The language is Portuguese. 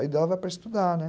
Aí dava para estudar, né?